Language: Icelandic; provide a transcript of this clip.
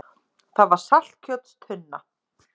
Það var saltkjötstunna.